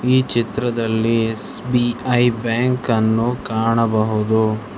ಈ ಚಿತ್ರದಲ್ಲಿ ಎಸ್_ಬಿ_ಐ ಬ್ಯಾಂಕನ್ನು ಕಾಣಬಹುದು.